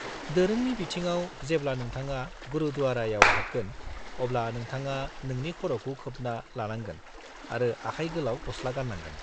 -दोरोंनि बिथिङाव, जेब्ला नोंथाङा गुरुद्वारायाव हाबगोन अब्ला नोंथाङा नोंनि खर'खौ खोबना लानांगोन आरो आखाय गोलाव गसला गान्नांगोन।